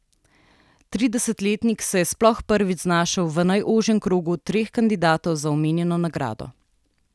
Tridesetletnik se je sploh prvič znašel v najožjem krogu treh kandidatov za omenjeno nagrado.